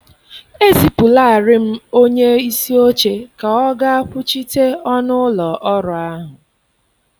Ezipụlaarị m onye isi oche ka ọ gaa kwuchite ọnụ ụlọ ọrụ ahụ.